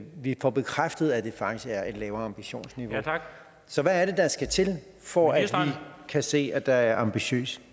vi får bekræftet at det faktisk er et lavere ambitionsniveau så hvad er det der skal til for at vi kan se at der er ambitiøs